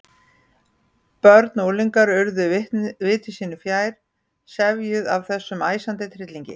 Börn og unglingar urðu viti sínu fjær, sefjuð af þessum æsandi tryllingi.